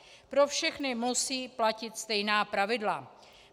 Pro všechny musí platit stejná pravidla.